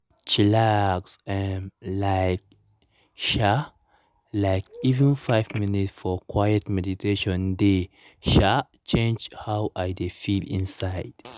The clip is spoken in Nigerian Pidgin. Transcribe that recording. chilax um — like um — like even five minutes of quiet meditation dey um change how i dey feel inside